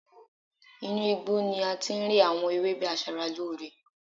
Inú igbó ni ati ń rí àwọn ewébè asara ló ọrẹ